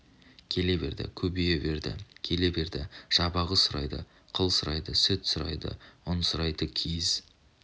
келе берді көбейе берді келе берді жабағы сұрайды қыл сұрайды сүт сұрайды үн сұрайды киіз